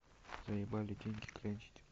заебали деньги клянчить